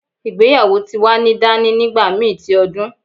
Igbeyawo ti wa ni dani nigbamii ti odun